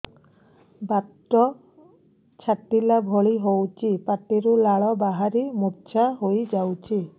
ବାତ ଛାଟିଲା ଭଳି ହଉଚି ପାଟିରୁ ଲାଳ ବାହାରି ମୁର୍ଚ୍ଛା ହେଇଯାଉଛି